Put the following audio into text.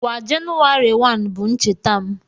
Kwa Jenụwarị 1 bụ ncheta m